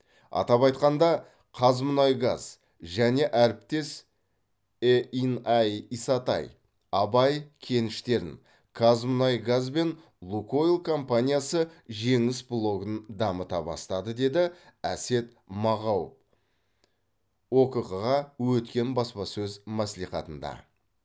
атап айтқанда қазмұнайгаз және әріптес е ин ай исатай абай кеніштерін қазмұнайгаз бен лукойл компаниясы жеңіс блогын дамыта бастады деді әсет мағау окқ ға өткен баспасөз мәслихатында